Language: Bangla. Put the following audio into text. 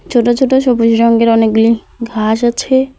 ছোট ছোট সবুজ রঙের অনেকগুলি ঘাস আছে।